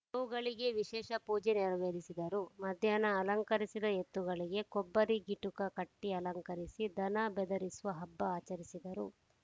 ಗೋವುಗಳಿಗೆ ವಿಶೇಷ ಪೂಜೆ ನೆರವೇರಿಸಿದರು ಮಧ್ಯಾಹ್ನ ಅಲಂಕರಿಸಿದ ಎತ್ತುಗಳಿಗೆ ಕೊಬ್ಬರಿ ಗಿಟುಕ ಕಟ್ಟಿಅಲಂಕರಿಸಿ ದನ ಬೆದರಿಸುವ ಹಬ್ಬ ಆಚರಿಸಿದರು